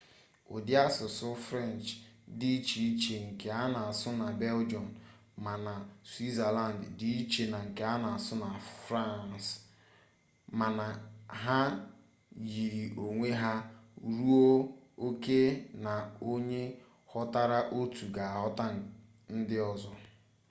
ụdị asụsụ french dị iche iche nke a na-asụ na belgium ma na switzerland dị iche na nke a na-asụ na france mana ha yiri onwe ha ruo oke na onye ghọtara otu ga-aghọta ndị ọzọ